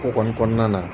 Ko kɔni kɔnɔna na